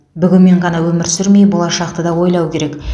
бүгінмен ғана өмір сүрмей болашақты да ойлау керек